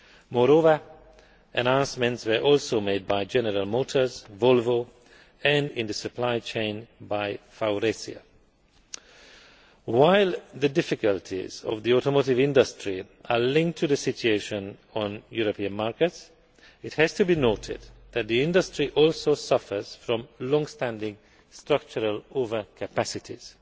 losses. Moreover, announcements were also made by General Motors, Volvo and, in the supply chain, by Faurecia. While the difficulties of the automotive industry are linked to the situation on European markets, it has to be noted that the industry also suffers from long standing structural overcapacities.